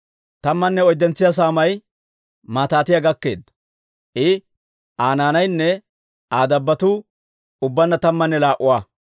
Tammanne oyddentso saamay Matiitiyaa gakkeedda; I, Aa naanaynne Aa dabbotuu ubbaanna tammanne laa"a.